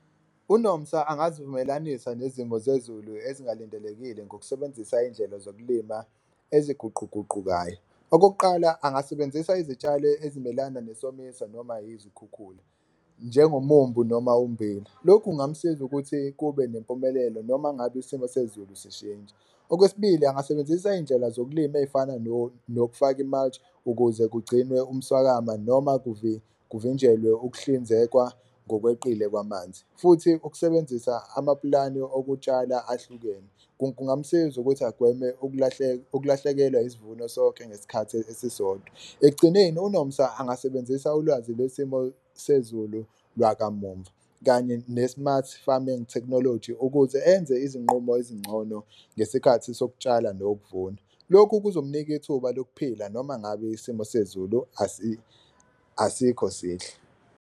UNomsa angazivumelanisa nezimo zezulu ezingalindelekile ngokusebenzisa indlela zokulima eziguquguqukayo. Okokuqala, angasebenzisa izitshalo ezimelana nesomiso noma yizikhukhula njengomumbu noma ummbila, lokhu kungamsiza ukuthi kube nempumelelo noma ngabe isimo sezulu sishintsha. Okwesibili, angasebenzisa indlela zokulima ey'fana nokufaka ukuze kugcinwe umswakama noma kuvinjelwe ukuhlinzekwa ngokweqile kwamanzi. Futhi, ukusebenzisa amapulani okutshala ahlukene kungamsiza ukuthi agweme ukulahlekelwa isivuno sonke ngesikhathi esisodwa. Ekugcineni uNomsa angasebenzisa ulwazi lwesimo sezulu lwakamumva kanye ne-smart farming technology ukuze enze izinqumo ezingcono ngesikhathi sokutshala nokuvuna, lokhu kuzomnika ithuba lokuphila noma ngabe isimo sezulu asikho sihle.